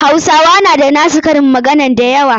Hausawa na da na su karin magana da yawa.